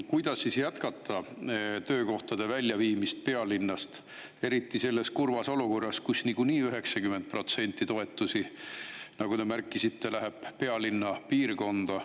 Kuidas siis jätkata töökohtade väljaviimist pealinnast, eriti selles kurvas olukorras, kus 90% toetusi, nagu te märkisite, on läinud pealinna piirkonda.